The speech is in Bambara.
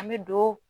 An bɛ don